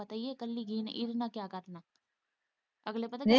ਅਗਲੇ ਪਤਾ, ਪਤਾ ਹੀ ਏ ਕਿ ਇੱਕਲੀ ਗਈ ਏ ਇਹਦੇ ਨਾਲ਼ ਕਿਆ ਕਰਨਾ।